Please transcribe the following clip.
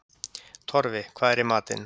Torfi, hvað er í matinn?